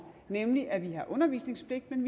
nemlig at vi har undervisningspligt men